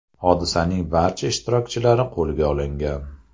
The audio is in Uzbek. Hodisaning barcha ishtirokchilari qo‘lga olingan.